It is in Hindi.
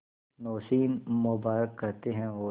नौशीन मुबारक कहते हैं और